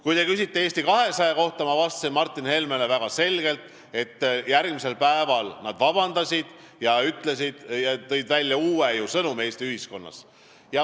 Kui te küsite Eesti 200 kohta, siis ma vastasin Martin Helmele väga selgelt, et järgmisel päeval nad palusid vabandust ja tõid ühiskonnas välja uue sõnumi.